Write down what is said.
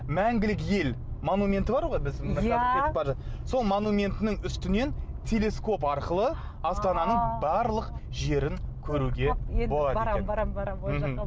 мәңгілік ел монументі бар ғой біздің иә сол монументінің үстінен телескоп арқылы астананың барлық жерін көруге болады екен барамын барамын